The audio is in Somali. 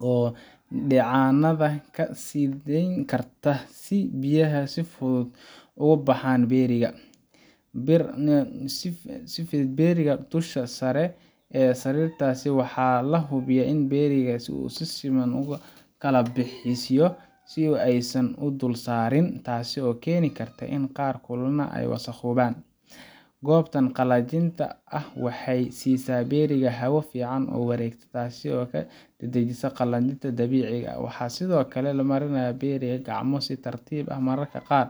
oo dheecaanada ka siidayn karta, si biyaha si fudud uga baxaan berry-ga. Waxaa lagu fidiyaa berry-ga dusha sare ee sariirtaas, waxaana la hubiyaa in berry-ga si siman loo kala bixiyo si aysan is dul saarin, taas oo keeni karta inay qaar kululaan ama wasakhoobaan. Goobtan qalajinta ah waxay siisa berry-ga hawo fiican oo wareegta, taas oo dedejisa qalajinta dabiiciga ah. Waxaa sidoo kale la mariyaa berry-ga gacmo si tartiib ah mararka qaar